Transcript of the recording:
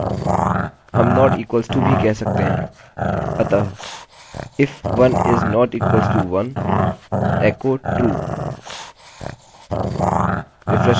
हम not equal to असमान भी कह सकते हैं अतः if 1 is not equal to1 echo true